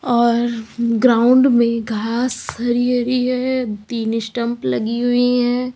और ग्राउंड में घास हरी हरी है तीन स्टंप लगी हुई हैं।